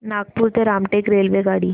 नागपूर ते रामटेक रेल्वेगाडी